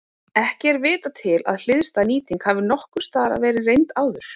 Ekki er vitað til að hliðstæð nýting hafi nokkurs staðar verið reynd áður.